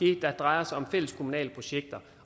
det der drejer sig om fælleskommunale projekter